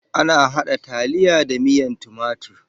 Ana haɗa taliya da miyan timatur.